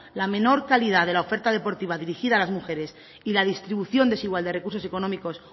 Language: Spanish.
la menor calidad de la oferta deportiva dirigida a las mujeres y la distribución desigual de recursos económicos